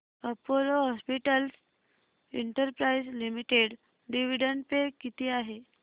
Apollo hospitals enterprise limited dividend pay किती आहे